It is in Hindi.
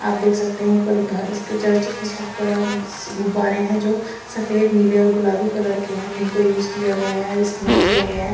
आप देख सकते है ऊपर घर ऊपर चर्च कि छत पर आप स गुबारे है जो सफेद नीले और गुलाबी कलर के है जिनको यूज गिया गया है इस्तेमाल किया गया है।